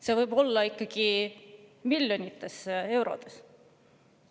See võib olla ikkagi miljonites eurodes.